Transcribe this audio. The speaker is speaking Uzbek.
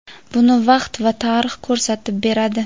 buni vaqt va tarix ko‘rsatib beradi.